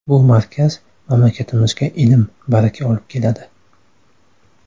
Bu markaz mamlakatimizga ilm, baraka olib keladi.